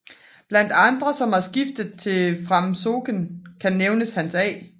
Blandt andre som har skiftet til Framsókn kan nævnes Hans A